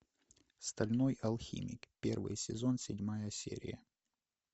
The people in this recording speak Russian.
стальной алхимик первый сезон седьмая серия